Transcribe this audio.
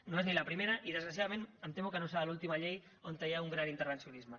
no és ni la primera i desgraciadament em temo que no serà l’última llei on hi ha un gran intervencionisme